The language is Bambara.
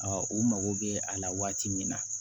u mago bɛ a la waati min na